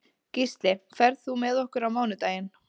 Gísli, ferð þú með okkur á mánudaginn?